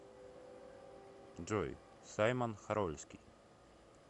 джой саймон хорольский